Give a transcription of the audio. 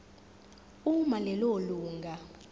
uma lelo lunga